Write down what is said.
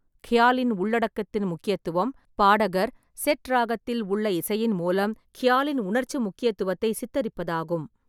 க்யாலின் உள்ளடக்கத்தின் முக்கியத்துவம் பாடகர், செட் ராகத்தில் உள்ள இசையின் மூலம், க்யாலின் உணர்ச்சி முக்கியத்துவத்தை சித்தரிப்பதாகும்.